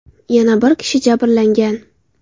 Yana bir kishi jabrlangan.